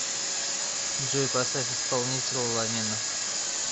джой поставь исполнителя ламино